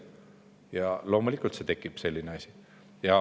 Ja loomulikult siis tekib selline asi.